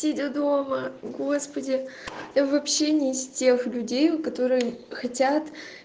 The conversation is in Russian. сиди дома господи я вообще не из тех людей которые хотят